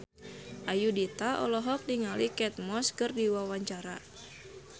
Ayudhita olohok ningali Kate Moss keur diwawancara